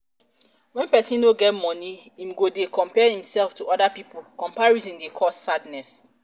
when person no get money im go dey compare im self to oda pipo comparison dey cause sadness